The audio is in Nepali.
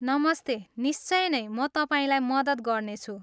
नमस्ते, निश्चय नै, म तपाईँलाई मद्दत गर्नेछु।